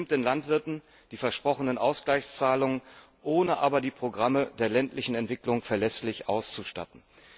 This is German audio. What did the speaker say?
Es nimmt den Landwirten die versprochenen Ausgleichzahlungen, ohne aber die Programme der ländlichen Entwicklung verlässlich auszustatten.